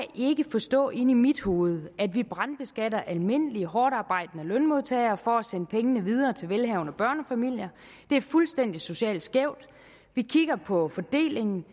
forstå inde i mit hoved at vi brandbeskatter almindelige hårdtarbejdende lønmodtagere for at sende pengene videre til velhavende børnefamilier det er fuldstændig socialt skævt vi kigger på fordelingen